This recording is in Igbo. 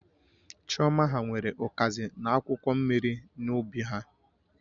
Chioma ha nwere ukazi na akwụkwọ mmiri n'ubi ha